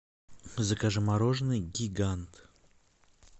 закажи мороженое гигант